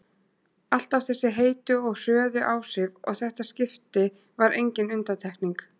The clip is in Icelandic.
Alltaf þessi heitu og hröðu áhrif og þetta skipti var engin undantekning.